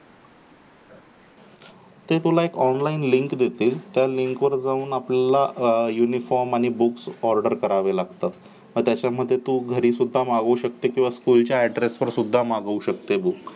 ते तुला online link देतील त्या लिंक वर जाऊन आपल्याला uniform आणि books order करावे लागतात, मग त्याच्यामध्ये तू घरी सुद्धा मागू शकते किंवा school address ला सुद्धा मागू शकते books